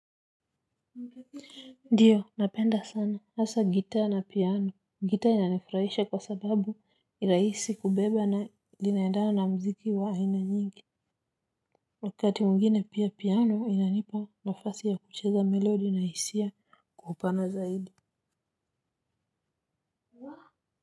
Ndiyo napenda sana hasa gita na piano gita inanifraisha kwa sababu iraisi kubeba na dinaedana na mziki wa aina nyingi. Wakati mwingine pia piano inanipa nafasi ya kucheza melodi na hisia kwa upana zaidi.